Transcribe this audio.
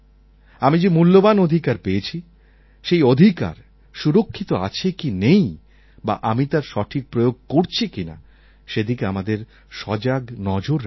আমি যে মূল্যবান অধিকার পেয়েছি সেই অধিকার সুরক্ষিত আছে কি নেই বা আমি তার সঠিক প্রয়োগ করছি কিনা সেদিকে আমাদের সজাগ নজর রাখতে হবে